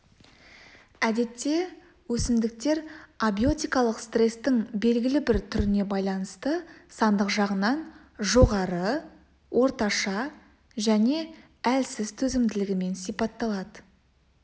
әдетте өсімдіктер абиотикалық стрестің белгілі бір түріне байланысты сандық жағынан жоғары орташа және әлсіз төзімділігімен сипатталады